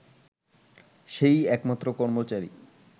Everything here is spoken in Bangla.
সে-ই একমাত্র কর্মচারী